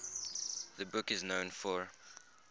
the book is known for